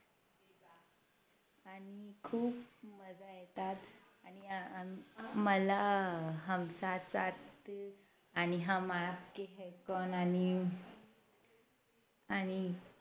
खूप मजा येतात आणि मला हम साथ साथ आणि हम आपके है कौन आणि आणि